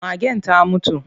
Magen ta mutu.